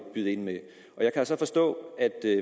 byde ind med jeg kan så forstå at